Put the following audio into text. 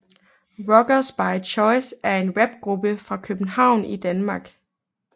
Rockers By Choice er en rapgruppe fra København i Danmark